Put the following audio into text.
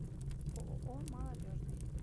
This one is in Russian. ооо молодежный